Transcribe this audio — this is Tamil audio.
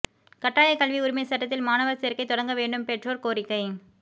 கட்டாயக்கல்வி உரிமைச் சட்டத்தில் மாணவர் சேர்க்கை தொடங்க வேண்டும் பெற்றோர் கோரிக்கை